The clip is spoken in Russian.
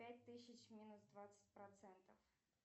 пять тысяч минус двадцать процентов